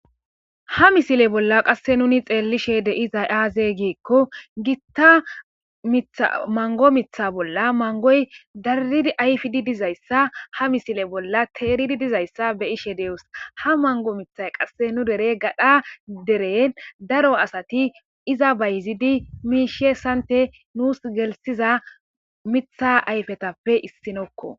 Ha misile bolla qasse nuni xeellishe deizay aaze giekko gitta mango mitha bolla mangoy darrid ayfidi dizayssa ha misile bolla teeridi dizayssa be ishe deos ha mango mithay qasse nu dere gadha deren daro asati iza bayzidi miishe sante nuus gelsiza mitha ayfetappe issinokko.